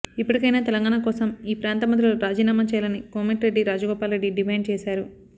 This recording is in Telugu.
ఇప్పటికైనా తెలంగాణ కోసం ఈ ప్రాంత మంత్రులు రాజీనామా చేయాలని కోమటిరెడ్డి రాజగోపాల్ రెడ్డి డిమాండ్ చేశారు